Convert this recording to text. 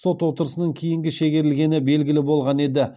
сот отырысының кейінге шегерілгені белгілі болған еді